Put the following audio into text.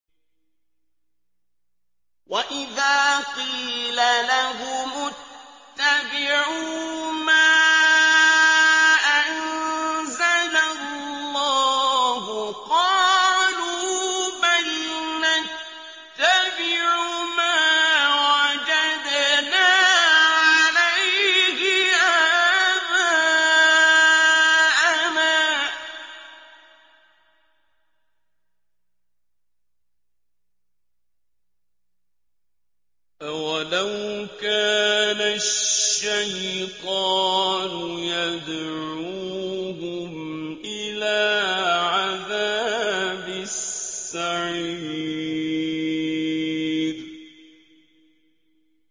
وَإِذَا قِيلَ لَهُمُ اتَّبِعُوا مَا أَنزَلَ اللَّهُ قَالُوا بَلْ نَتَّبِعُ مَا وَجَدْنَا عَلَيْهِ آبَاءَنَا ۚ أَوَلَوْ كَانَ الشَّيْطَانُ يَدْعُوهُمْ إِلَىٰ عَذَابِ السَّعِيرِ